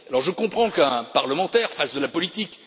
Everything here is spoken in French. Alors je comprends qu'un parlementaire fasse de la politique.